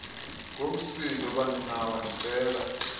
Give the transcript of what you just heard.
ngomsindo baninawa ndicela